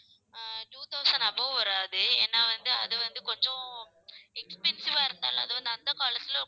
அஹ் two thousand above வராது. ஏன்னா வந்து அது வந்து கொஞ்சம் expensive ஆ இருந்தாலும் அது வந்து அந்த காலத்தில